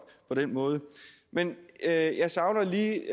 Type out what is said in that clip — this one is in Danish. på den måde men jeg jeg savner lige